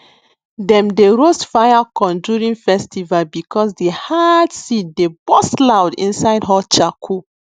dem dey roast fire corn during festival because the hard seed dey burst loud inside hot charcoal